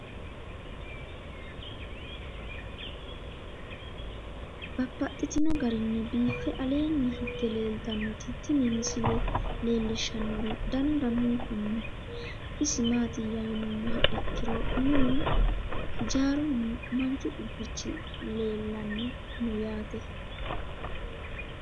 Babaxxittinno garinni biiffe aleenni hige leelittannotti tinni misile lelishshanori danu danunkunni isi maattiya yinummoha ikkiro minnu hijjarunna manchu qubbichi leelanni noo yaatte.